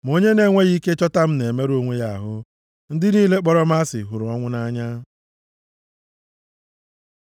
Ma onye na-enweghị ike chọta m na-emerụ onwe ya ahụ; ndị niile kpọrọ m asị hụrụ ọnwụ nʼanya.”